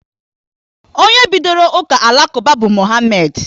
Onye bidoro uka Alakuba bụ Mohamedi